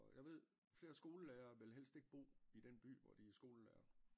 Og jeg ved flere skolelærere vil helst ikke bo i den by hvor de er skolelærer